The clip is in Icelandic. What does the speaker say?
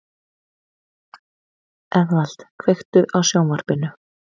Eðvald, kveiktu á sjónvarpinu.